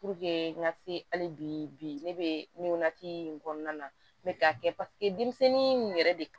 n ka se hali bi ne bɛ nin natigi in kɔnɔna na mɛ k'a kɛ paseke denmisɛnnin in yɛrɛ de